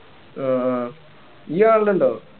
ആഹ് ഇയ്യ്‌ കാണലുണ്ടോ